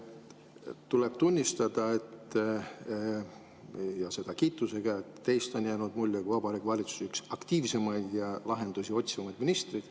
Tuleb tunnistada, ja seda kiitusega, et teist on jäänud mulje kui Vabariigi Valitsuse ühest aktiivsemast ja lahendusi otsivast ministrist.